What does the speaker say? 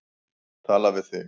Tala við þig.